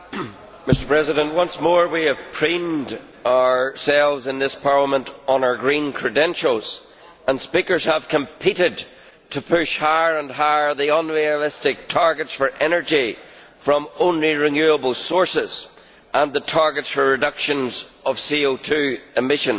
Mr President, once more we have preened ourselves in this Parliament on our green credentials, and speakers have competed to push higher and higher the unrealistic targets for energy from only renewable sources and the targets for reductions of CO emissions